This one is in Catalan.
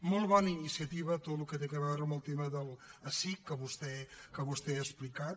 molt bona iniciativa tot el que té a veure amb el tema de l’esic que vostè ha explicat